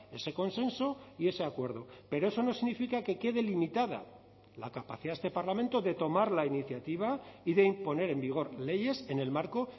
ese consenso y ese acuerdo pero eso no significa que quede limitada la capacidad de este parlamento de tomar la iniciativa y de imponer en vigor leyes en el marco